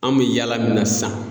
An bɛ yaala min na sisan.